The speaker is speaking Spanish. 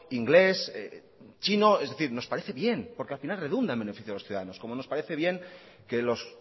inglés chino es decir nos parece bien porque al final redunda en el beneficio de los ciudadanos como nos parece bien que los